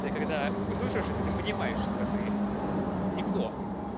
ты когда выслушиваешь это ты понимаешь что ты никто